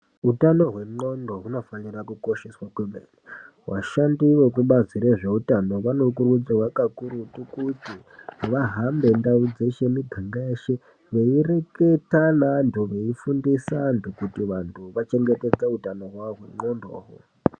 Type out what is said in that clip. Utano hwendxondo hunofanira kukosheswa kwemene. Vashandi vekubazi rezveutano vanokurudzirwa kakurutu kuti vahambe ndau dzeshe miganga yeshe , veireketa neantu , veifundisa antu kuti vantu vachengetedze utano hwavo hwendxondo uhu.